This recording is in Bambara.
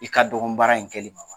I ka dɔgɔ baara in kɛli ma wa ?